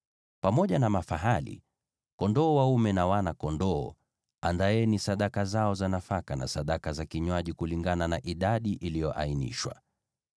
Pamoja na mafahali, kondoo dume, na wana-kondoo, andaeni sadaka zao za nafaka na sadaka za vinywaji, kulingana na idadi iliyoainishwa.